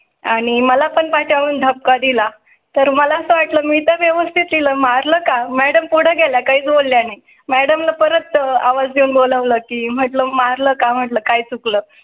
आणि मला पण पाठवून धक्का दिला तर मला असं वाटलं मी ते व्यवस्थित लिहला मारलं का मॅडम पुढे गेला काही बोलले नाही. madam परत आवाज देऊन बोलावल की म्हटलं मारलं का? म्हटलं काही चुकलं